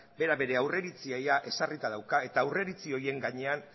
bera bere aurreiritzia ia ezarrita dauka eta aurreiritzi horien gainean